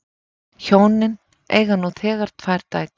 Hjónin eiga nú þegar tvær dætur